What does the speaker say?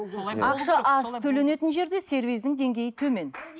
ақша аз төленетін жерде сервистің деңгейі төмен